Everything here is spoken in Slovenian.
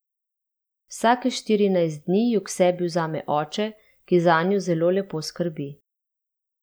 Vsake štirinajst dni ju k sebi vzame oče, ki zanju zelo lepo skrbi.